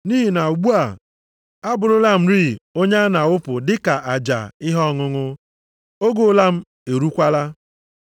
Nʼihi na ugbu a, abụrụla m rịị onye a na-awụpụ dị ka aja ihe ọṅụṅụ, oge ụla m eruokwala.